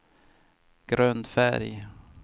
grundfärg